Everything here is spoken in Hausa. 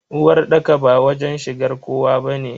Uwarɗaka ba wajen shigar kowa bane.